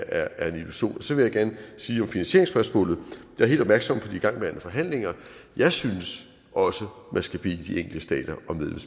er en illusion så vil jeg gerne sige om finansieringsspørgsmålet jeg er helt opmærksom på de igangværende forhandlinger jeg synes også man skal bede de enkelte stater